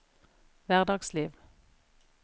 hverdagsliv